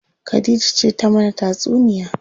Khadija ce ta mana tatsuniya.